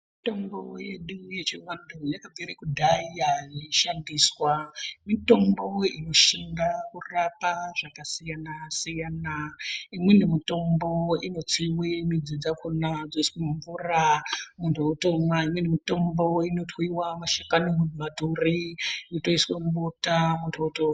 Mitombo yedu yechianhu yakabvire kudhaya yeishandiswa mitombo inoshinga kurapa zvakasiyanasiyana imweni mitombo inotsiwe midzi dzakona dzoiswe mumvura muntu otomwa imweni mitombo inotwiwe mashakani mumaturi yotoiswe mubota anhu otorya.